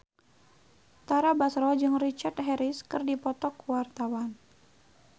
Tara Basro jeung Richard Harris keur dipoto ku wartawan